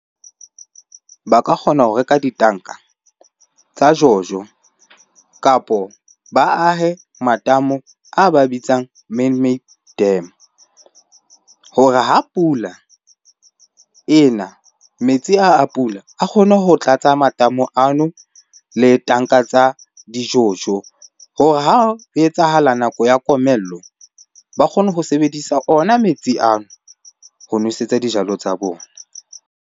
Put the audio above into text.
Ba ka kgona ho reka ditanka tsa jojo kapo ba ahe matamo a ba bitsang man-made dam hore ha pula ena metsi a, a pula a kgone ho tlatsa matamo ano le tanka tsa dijojo. Hore ha ho etsahala nako ya komello, ba kgone ho sebedisa ona metsi ano ho nwesetsa dijalo tsa bona.